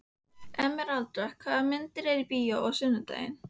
Emeralda, hvaða myndir eru í bíó á sunnudaginn?